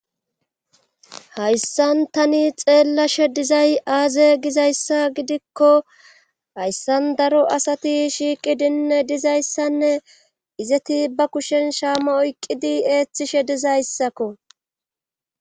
Hayssan tani xeellashe dizay aaze gizayssa gidikko hayssan daro asati shiiqidinne dizayssanne izeti ba kushen shaama oyqqidi eeththishe dizayssakko.